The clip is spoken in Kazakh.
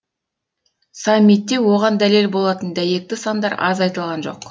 саммитте оған дәлел болатын дәйекті сандар аз айтылған жоқ